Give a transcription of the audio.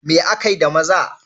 Me akai da maza?